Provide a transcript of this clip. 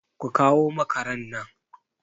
Ku kawo makaran nan!